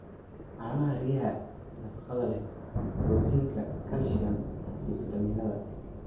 Caanaha riyaha: Nafaqada leh borotiinka, calcium, iyo fiitamiinnada.